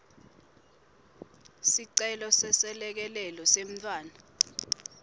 sicelo seselekelelo semntfwana